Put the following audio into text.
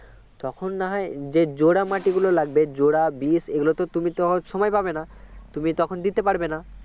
তখন না হয় যে জোড়া মাটিগুলো লাগবে জোড়া বিষ এগুলো তুমি তো সময় পাবে না তুমি তখন দিতে পারবে না